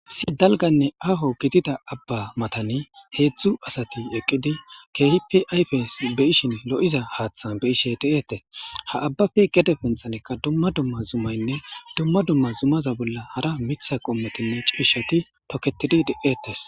Si dalganne aaho gidida abba matani heedzdzu asati eqqidi keehipi ayfes beyishin lo'iza haaththan be ishe deeetes ha abbafe gede punxanekka dumma dumma zumaynne dumma dumma zumaza bolla hara mitha qommetinne ciishati toketidi deetes.